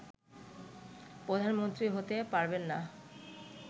প্রধানমন্ত্রী হতে পারবেন না